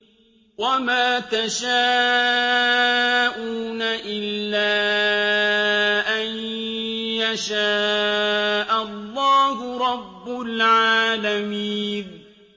وَمَا تَشَاءُونَ إِلَّا أَن يَشَاءَ اللَّهُ رَبُّ الْعَالَمِينَ